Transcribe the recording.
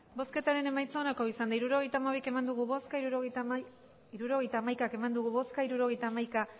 hirurogeita hamaika eman dugu bozka hirurogeita hamaika